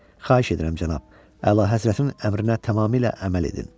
Xahiş edirəm, cənab, əlahəzrətin əmrinə tamamilə əməl edin.